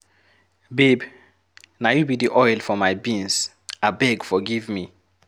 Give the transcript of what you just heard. Babe, na you be the oil for my beans, abeg forgive me.